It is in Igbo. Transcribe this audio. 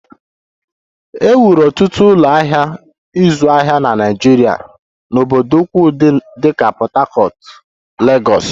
E wuru ọtụtụ ụlọ ahịa ịzụ ahịa na Naịjirịa n'obodo ukwu dịka Lagos, Port Harcourt